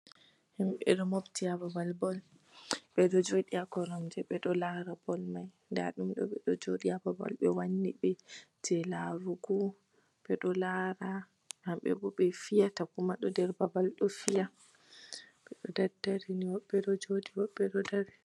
Himbe ɗo mofti ha babal bol. Beɗo joɗi ha koromje, beɗo lara bol mai. Nɗa ɗum ɗo beɗo joɗi ha babal be wanni be je larugo, beɗo lara. Habbe bo be piyata kuma ɗo ɗer babal ɗo piya. Hobbe ɗo joɗi hobbe ɗo ɗaɗɗari.